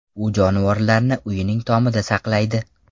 U jonivorlarni uyining tomida saqlaydi.